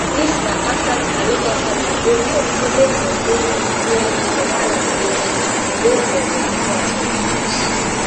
dis na afta di aloba family go court say make dem go do dna for one laboratory wey dem recognise for lagos